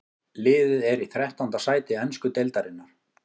Liðið er í þrettánda sæti ensku deildarinnar.